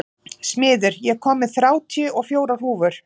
Smiður, ég kom með þrjátíu og fjórar húfur!